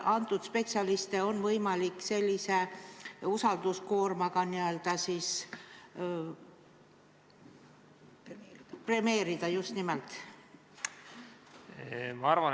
Kas neid spetsialiste on võimalik sellise usalduskoormaga n-ö premeerida?